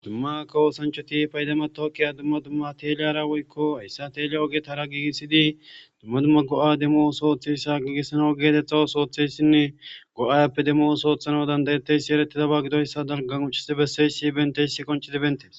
Dumma kawo oosanchati payda matawuqiya dumma dumma teleyiyara woykko hayssa teleyiya ogetara gigisidi dumma dumma go'a demo ooso ootiyayssa giigisanaw geeteta ooso ootiyayssinne ga'a appe demo ooso ootiyayssa be'anawu danayiyaysi eretidaba dalgan qonccisi bessiyayssi bentiyayssi qonccidi beetees.